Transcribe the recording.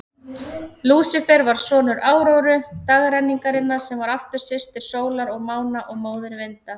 Lúsífer var sonur Áróru, dagrenningarinnar, sem var aftur systir sólar og mána og móðir vinda.